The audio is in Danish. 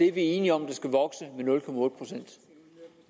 er enige om skal vokse